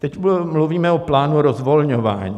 Teď mluvíme o plánu rozvolňování.